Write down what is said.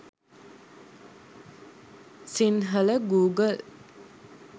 sinhala google